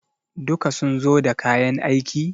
duka sun zo da kayan aiki?